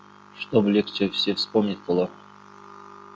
чтобы легче все вспомнить было